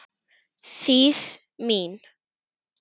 Þýð. mín.